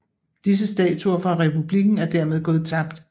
Disse statuer fra republikken er dermed gået tabt